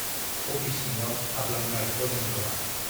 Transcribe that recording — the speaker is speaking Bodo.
अफिस सिङाव हाबलांबाय अजेन्द्रआ।